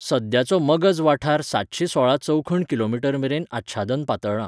सद्याचो मगज वाठार सातशे सोळा चौखण किलोमीटरमेरेन आच्छादन पातळ्ळा.